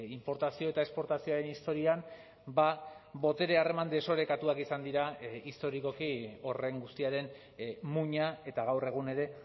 inportazio eta esportazioaren historian botere harreman desorekatuak izan dira historikoki horren guztiaren muina eta gaur egun ere